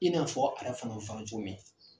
I n'a fɔ a yɛrɛ fana wan cogo min